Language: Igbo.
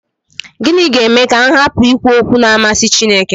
Gịnị ga-eme ka m hapụ ikwu okwu na-amasị Chineke?